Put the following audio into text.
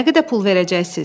Nə qədər pul verəcəksiniz?